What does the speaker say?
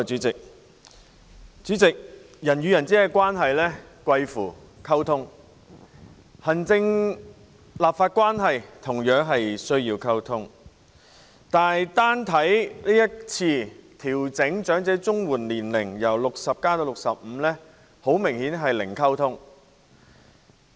主席，人與人之間的關係貴乎溝通，行政立法關係同樣需要溝通，但單看這次把申領長者綜合社會保障援助計劃的年齡由60歲調整至65歲的方案，明顯是零溝通。